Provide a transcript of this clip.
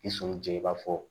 I sɔnni jɛ i b'a fɔ